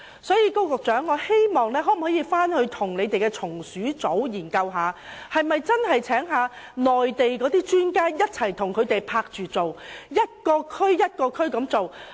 所以，我希望高局長與防治蟲鼠組研究邀請內地專家來港，在每一區共同進行滅鼠工作。